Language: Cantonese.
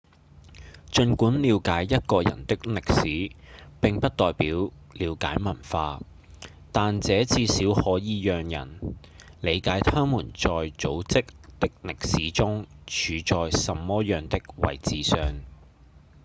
儘管了解一個人的歷史並不代表了解文化但這至少可以讓人理解他們在組織的歷史中處在什麼樣的位置上